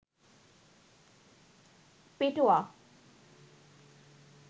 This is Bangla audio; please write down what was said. পেটোয়া